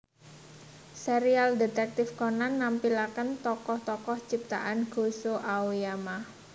Serial Detektif Conan nampilakèn tokoh tokoh ciptaan Gosho Aoyama